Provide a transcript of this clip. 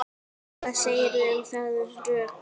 Hvað segirðu um þau rök?